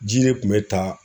Ji de tun bɛ ta